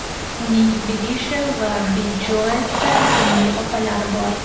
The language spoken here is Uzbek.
Uning Bidisha va Bidjoeta ismli opalari bor.